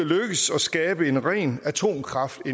lykkes at skabe en ren atomkraft